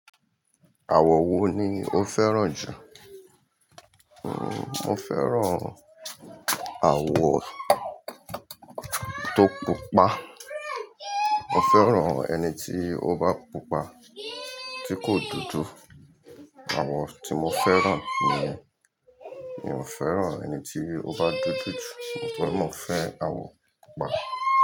Àwọ̀ wo ni o fẹ́ràn jù? Mo fẹ́ràn àwọ̀ tó pupa. Mo fẹ́ràn ẹni tí ó bá pupa, tí kò dúdú. Àwọ̀ tí mo fẹ́ràn nìyẹn. Mi ò fẹ́ràn ẹni tí ó bá dódó jù. Mo fẹ́ràn àwọ̀ pupa.